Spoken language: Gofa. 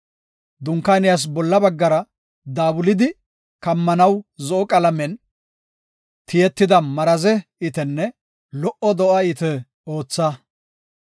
“Dunkaaniyas bolla baggara daabulidi kammanaw zo7o qalamen tiyetida maraze itenne lo77o do7a ite ootha.